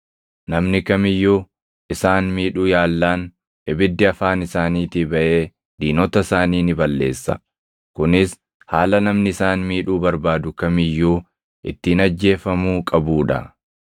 Namni kam iyyuu isaan miidhuu yaallaan ibiddi afaan isaaniitii baʼee diinota isaanii ni balleessa. Kunis haala namni isaan miidhuu barbaadu kam iyyuu ittiin ajjeefamuu qabuu dha.